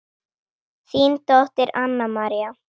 Þín dóttir Anna María.